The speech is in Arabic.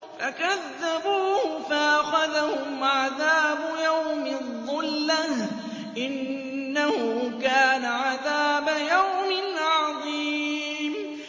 فَكَذَّبُوهُ فَأَخَذَهُمْ عَذَابُ يَوْمِ الظُّلَّةِ ۚ إِنَّهُ كَانَ عَذَابَ يَوْمٍ عَظِيمٍ